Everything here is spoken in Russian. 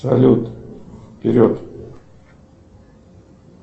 салют вперед